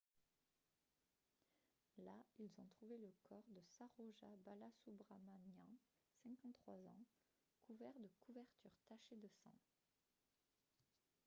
là ils ont trouvé le corps de saroja balasubramanian 53 ans couvert de couvertures tachées de sang